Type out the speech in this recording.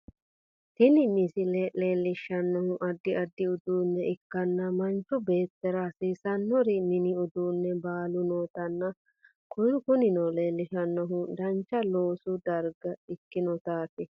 TIini miisile leelishanhu addi addi uudune ekkana maanchu beetira haasisanori miini udunii baalu nootana kuninoo leelishanohu danncha loosu daarga ekknotati.